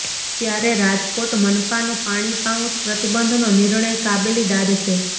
ત્યારે રાજકોટ મનપાનો પાણી પાઉચ પ્રતિબંધનો નિર્ણય કાબેલી દાદ છે